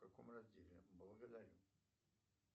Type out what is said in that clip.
в каком разделе благодарю